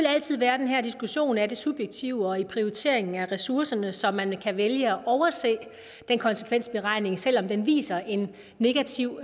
altid være den her diskussion af det subjektive og prioriteringen af ressourcerne så man kan vælge at overse den konsekvensberegning selv om den viser en negativ